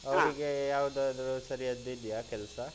ಅವ್ನಿಗೆ ಯಾವುದಾದ್ರೂ ಸರಿಯಾದುದ್ದು ಇದ್ಯಾ ಕೆಲ್ಸ?